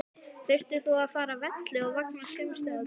Þurftir þú að fara af velli vegna samstuðsins við Ólaf?